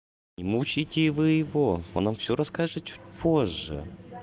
не мучайте вы его он нам всё расскажет чуть позже